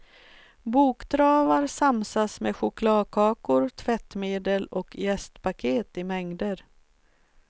Boktravar samsas med chokladkakor, tvättmedel och jästpaket i mängder.